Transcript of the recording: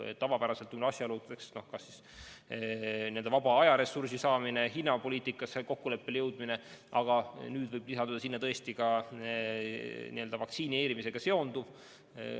Tavapäraselt räägivad kaasa asjaolud, kas vaba aega on, kas hinnas jõutakse kokkuleppele, aga nüüd võib lisanduda tõesti ka vaktsineerimisega seonduv.